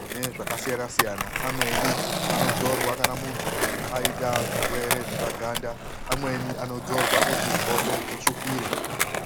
mune zvakasiyana-siyana. Amweni anozorwa muntu aita zvirwere zvepa ganda amweni anozorwa kuti hope dzitsvukire.